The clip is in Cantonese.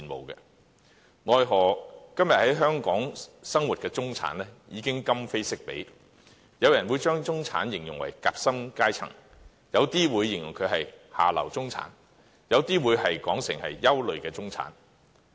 奈何今天在香港生活的中產已今非昔比，有人會把他們形容為夾心階層，有人則形容為"下流中產"，甚至是"憂慮中產"。